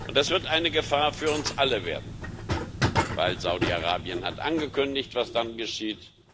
Das wird eine Gefahr für uns alle werden, weil Saudi Arabien angekündigt hat, was dann geschieht